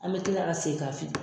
An be kila ka segin k'a fi